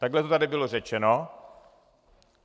Takhle to tady bylo řečeno.